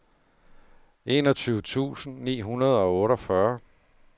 enogtyve tusind ni hundrede og otteogfyrre